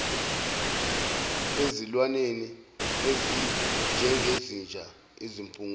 ezilwaneni ezinjengezinja izimpungushe